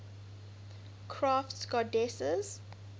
crafts goddesses